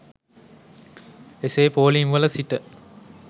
එසේ පෝලිම්වල සිට